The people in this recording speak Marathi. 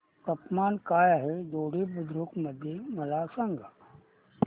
तापमान काय आहे दोडी बुद्रुक मध्ये मला सांगा